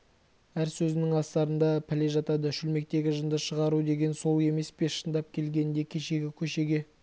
әр сөзінің астарында пәле жатады шөлмектегі жынды шығару деген сол емес пе шындап келгенде кешегі көшеге